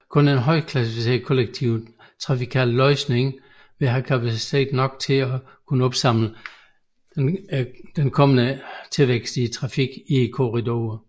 Kun en højklasset kollektiv trafikal løsning vil have kapacitet nok til at kunne opsamle den kommende trafikvækst i korridoren